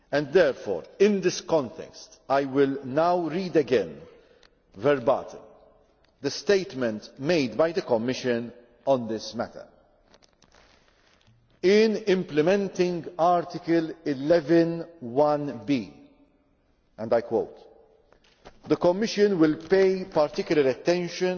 Therefore, in this context, I will now read again, verbatim, the statement made by the Commission on this matter In implementing Article 11, the Commission will pay particular attention